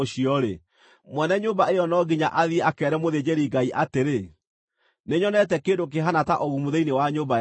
mwene nyũmba ĩyo no nginya athiĩ akeere mũthĩnjĩri-Ngai atĩrĩ, ‘Nĩnyonete kĩndũ kĩhaana ta ũgumu thĩinĩ wa nyũmba yakwa.’